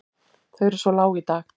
Þau eru svo lág í dag.